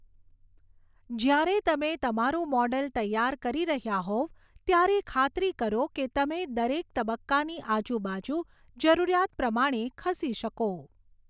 જ્યારે તમે તમારું મૉડલ તૈયાર કરી રહ્યા હોવ ત્યારે ખાતરી કરો કે તમે દરેક તબક્કાની આજુબાજુ જરૂરિયાત પ્રમાણે ખસી શકો.